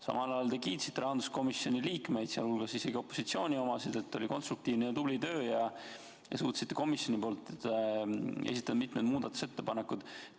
Samal ajal te kiitsite rahanduskomisjoni liikmeid, sealhulgas isegi opositsiooni omasid, et oli konstruktiivne ja tubli töö ja te suutsite komisjoni nimel esitada mitmed muudatusettepanekud.